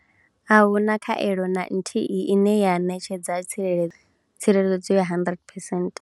Ahuna khaelo na nthihi ine ya ṋetshedza tsireledzo yo tsireledzo ya 100 percent.